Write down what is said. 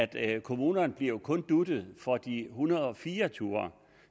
det her kommunerne bliver jo kun dut’et for de en hundrede og fire ture